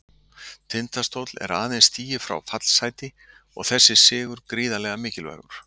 Tindastóll er aðeins stigi frá fallsæti og þessi sigur gríðarlega mikilvægur.